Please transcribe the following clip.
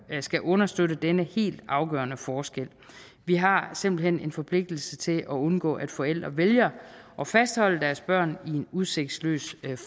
skal understøtte denne helt afgørende forskel vi har simpelt hen en forpligtelse til at undgå at forældre vælger at fastholde deres børn i en udsigtsløs